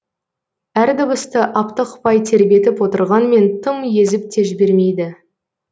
әр дыбысты аптықпай тербетіп отырғанмен тым езіп те жібермейді